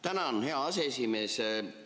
Tänan, hea aseesimees!